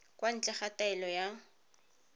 kwa ntle ga taelo ya